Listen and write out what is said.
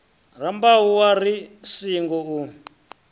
rambau wa ri singo u